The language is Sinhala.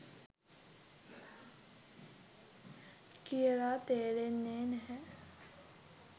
කියල තේරෙන්නේ නැහැ